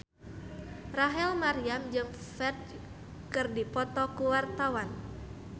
Rachel Maryam jeung Ferdge keur dipoto ku wartawan